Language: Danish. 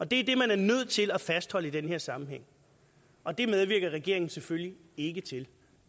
det er det man er nødt til at fastholde i denne sammenhæng og det medvirker regeringen selvfølgelig ikke til